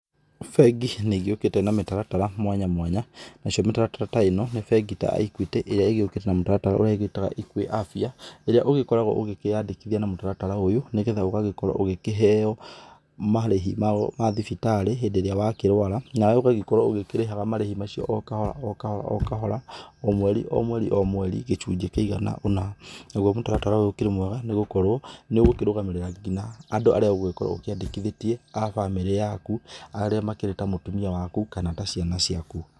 Bengi nĩ igĩũkĩte na mĩtaratara mwanya mwanya, nacio mĩtaratara ta ĩno nĩ bengi ta Equity ĩrĩa ĩgĩũkĩte na mũtaratara ũrĩa ũgĩtaga EquiAfya, ĩrĩa ũgĩkoragwo ũgĩkĩyandĩkithia na mũtaratara ũyũ, nĩgetha ũgagĩkorwo ũgĩkĩheo marĩhi mao ma thibitarĩ hĩndĩ ĩrĩa wakĩrwara nawe ũgagĩkorwo ũgĩkĩrĩhaga marĩhi macio o kahora o kahora, o kahora o kahora, o mweri o mweri o mweri, gĩcunjĩ kĩigana ũna. Naguo mũtaratara ũyũ ũkĩrĩ mwega tondũ nĩ ũgũkĩrũgamĩrĩra nginya andũ arĩa ũgĩkoragwo ũkĩandĩkithĩtie a bamĩrĩ yaku, arĩa makĩrĩ ta mũtimia waku kana ta ciana ciaku.